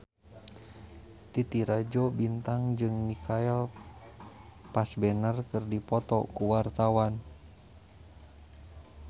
Titi Rajo Bintang jeung Michael Fassbender keur dipoto ku wartawan